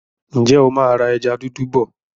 Ǹjẹ́ o máa ra ẹja dúdú bọ̀?